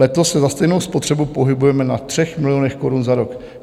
Letos se za stejnou spotřebu pohybujeme na 3 milionech korun za rok.